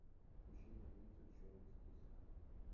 включи мне мультик черный список